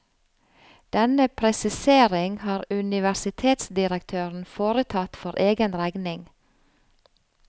Denne presisering har universitetsdirektøren foretatt for egen regning.